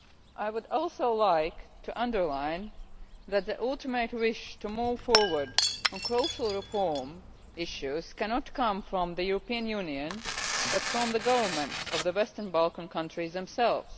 I would also like to underline that the ultimate wish to move forward on crucial reform issues cannot come from the European Union, but from the governments of the Western Balkan countries themselves.